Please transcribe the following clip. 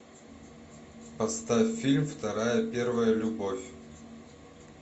поставь фильм вторая первая любовь